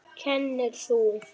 Kennir þú?